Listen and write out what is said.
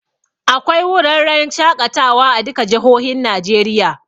Akwai wurarren shaƙatawa a duka jihohin Najeriya